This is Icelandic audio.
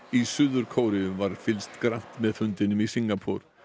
í Suður Kóreu var fylgst grannt með fundinum í Singapúr